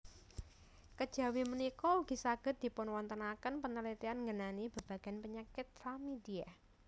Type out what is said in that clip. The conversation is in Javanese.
Kejawi punika ugi saged dipunwontenaken panaliten ngenani babagan penyakit chlamydia